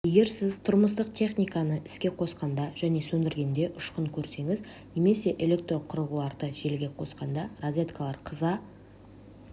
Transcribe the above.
егер сіз тұрмыстық техниканы іске қосқанда және сөндіргенде ұшқын көрсеніз немесе электроқұрылғыларды желіге қосқанда розеткалар қыза